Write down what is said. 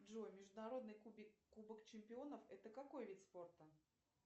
джой международный кубок чемпионов это какой вид спорта